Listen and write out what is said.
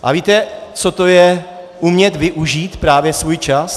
Ale víte, co to je umět využít právě svůj čas?